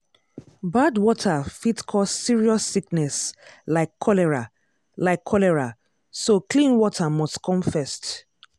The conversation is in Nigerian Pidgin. bad water fit cause serious sickness like cholera like cholera so clean water must come first.